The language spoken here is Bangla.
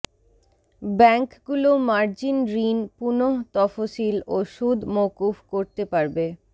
ব্যাংকগুলো মার্জিন ঋণ পুনঃতফসিল ও সুদ মওকুফ করতে পারবে